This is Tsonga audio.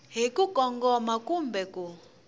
hi ku kongoma kumbe ku